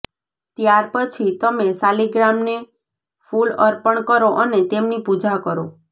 ત્યાર પછી તમે શાલીગ્રામને ફૂલ અર્પણ કરો અને તેમની પૂજા કરો